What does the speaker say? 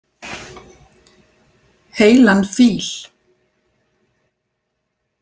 Heilan fíl.